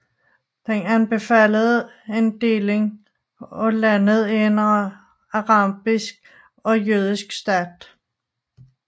Den anbefalede en deling af landet i en arabisk og jødisk stat